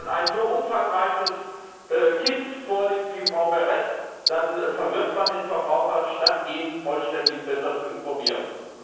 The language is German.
Wenn man ein so umfangreiches Paket vorlegt, wie Frau Berès, dann verwirrt man den Verbraucher, statt ihn vollständig und besser zu informieren.